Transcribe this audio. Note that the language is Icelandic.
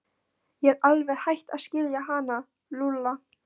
Ég er alveg hætt að skilja hann Lúlla.